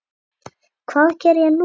Hvað geri ég nú?